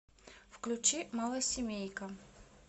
включи малосемейка